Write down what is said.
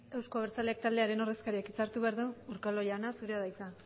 euzko abertzaleak taldearen ordezkariak hitza hartu behar du urkola jauna zurea da hitza